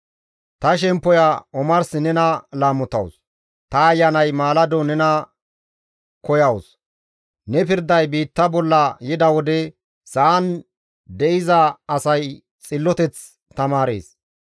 Ta shemppoya omarsi nena laamotawus; ta ayanay maalado nena koyawus; ne pirday biitta bolla yida wode sa7an de7iza asay xilloteth tamaarees.